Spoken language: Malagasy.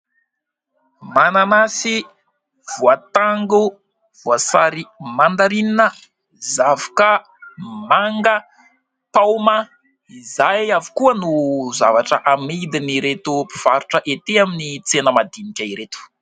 Manasy, voatango, voasary mandarinina, zavoka, manga paoma izay avokoa no zavatra amidin' ireto mpivarotra ety amin'ny tsena madinika ireto.